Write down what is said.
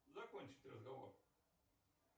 закончить разговор